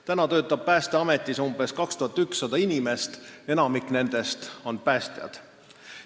Praegu töötab Päästeametis umbes 2100 inimest, enamik nendest on päästjad.